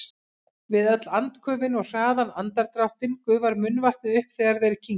Við öll andköfin og hraðan andardráttinn gufar munnvatnið upp þegar þeir kyngja.